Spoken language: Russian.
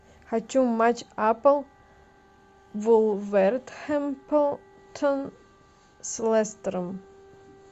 хочу матч апл вулверхэмптон с лестером